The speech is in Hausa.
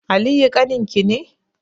Aliyu ƙaninki ne?